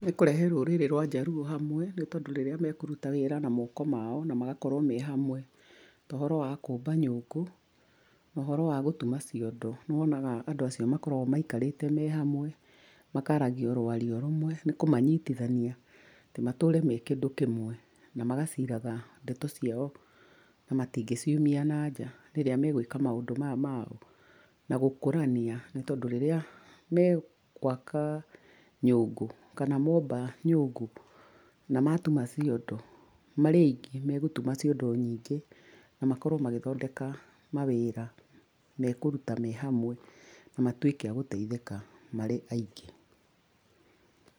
Nĩ kũrehe rũrĩrĩ rwa Njaruũ hamwe, nĩ tondũ rĩrĩa mekũruta wĩra na moko mao na magakorwo me hamwe. Ta ũhoro wa kũũmba nyũngũ na ũhoro wa gũtuma ciondo. Nĩ wonaga andũ acio makoragwo maikarĩte me hamwe, makaaragia oro ũario ũmwe, nĩ kũmanyitithania, atĩ matũre me kĩndũ kĩmwe na magaciraga ndeto ciao na matingĩ ciumia nanja, rĩrĩa megũĩka maũndũ maya mao. Na gũkũrania nĩ tondũ rĩrĩa megwaka nyũngũ, kana momba nyũngũ na matuma ciondo, marĩaingĩ megũtuma ciondo nyingĩ na makorwo magĩthondeka mawĩra me kũruta me hamwe na matuĩka a gũteithĩka marĩ aingĩ.